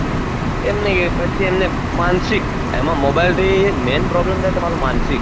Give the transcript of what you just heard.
એમ નહી એ પછી એમને માનશીક એમાં mobile થી main problem થાય તમારું માંન્સિક